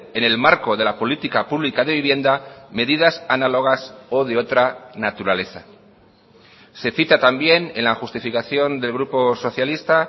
en el marco de la política pública de vivienda medidas análogas o de otra naturaleza se cita también en la justificación del grupo socialista